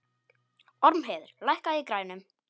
Ormheiður, lækkaðu í græjunum.